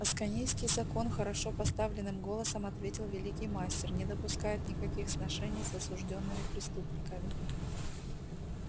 асконийский закон хорошо поставленным голосом ответил великий мастер не допускает никаких сношений с осуждёнными преступниками